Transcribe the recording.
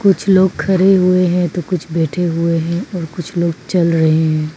कुछ लोग खड़े हुए हैं तो कुछ बैठे हुए है और कुछ लोग चल रहे है।